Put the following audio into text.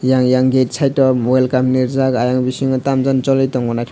yang yang gate side o welcome ni rijak ayang bisingo tamjani cholitongo naithotok.